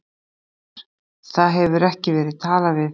Fréttamaður: Það hefur ekki verið talað við þig?